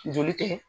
Joli tɛ